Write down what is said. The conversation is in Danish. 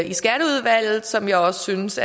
i skatteudvalget som jeg også synes